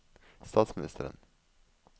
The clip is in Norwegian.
statsministeren